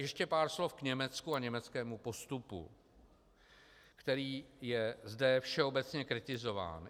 Ještě pár slov Německu a k německému postupu, který je zde všeobecně kritizován.